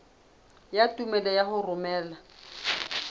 ya tumello ya ho romela